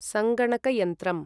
सङ्गणकयन्त्रम्